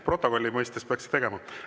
Protokolli huvides peaks tegema.